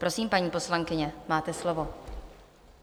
Prosím, paní poslankyně, máte slovo.